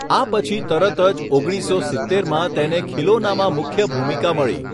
આ પછી તરત જ, ઓગણીસસો સિત્તેરમાં, તેને ખીલોનામાં મુખ્ય ભૂમિકા મળી.